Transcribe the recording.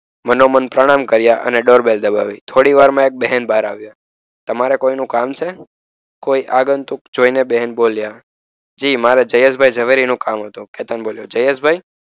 મનોમંથન કર્યા અને ડોરબેલ દબાવ્યું. થોડીવારમાં એક બહેન બહાર આવ્યા. તમારે કોઈનું કામ છે? કોઈ આગંતુક જોઈને બહેન બોલ્યા. જી મારે જયેશભાઈ ઝવેરી નું કામ હતું. કેતન બોલ્યો. જયેશભાઈ?